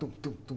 Tum, tum, tum.